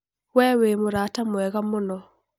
Wee wĩ mũrata mwega mũno.